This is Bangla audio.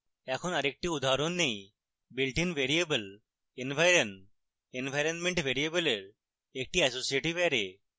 এখন আরেকটি উদাহরণ নেই builtin variable environ ইনভাইরনমেন্ট ভ্যারিয়েবলের একটি অ্যাসোসিয়েটেড অ্যারে